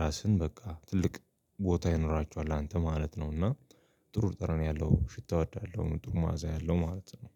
ራስን በቃ ትልቅ ቦታ ይኖራችኋል አንተ ማለት ነው። እና ጥሩ ጠረን ያለው ሽታ እወዳለሁ ጥሩ መዓዛ ያለው ማለት ነው።